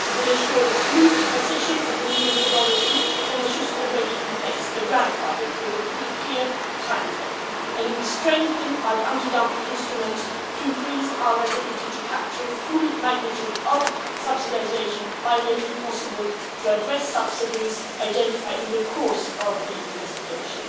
It will ensure a smooth transition to the new methodology for the measures already in place, the grandfather with a clear time frame, and we strengthen our anti dumping instrument to increase our ability to capture the full magnitude of subsidisation by making it possible to address subsidies identified in the course of the investigation.